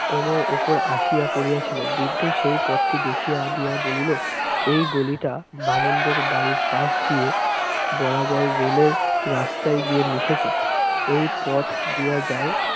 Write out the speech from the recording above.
এর উপর আসিয়া পরিয়া ছিল, বৃদ্ধ সেই পথটি দেখিয়া দিয়া বলিল, এই গলিটা বামুনদের বাড়ির পাশ দিয়ে বরাবর rail এর রাস্তায় গিয়ে মিশেছে। এই পথ দিয়া যাও।